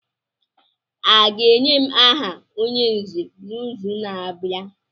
A ga-enye m aha onye nzè n'izu na-abịa?